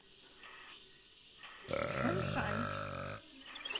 чжуншань